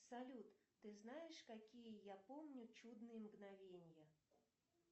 салют ты знаешь какие я помню чудные мгновения